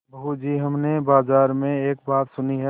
बहू जी हमने बाजार में एक बात सुनी है